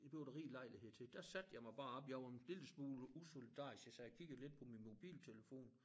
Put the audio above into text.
Det bliver der rig lejlighed til der satte jeg mig bare oppe jeg var en lille smule usolidarisk jeg sad og kiggede lidt på min mobiltelefon